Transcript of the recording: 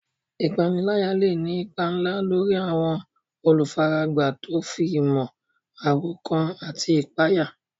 Ìpániláyà lè ní ipa ńlá lórí àwọn olùfaragbá tó fi mọ́ àròkán àti ìpayà.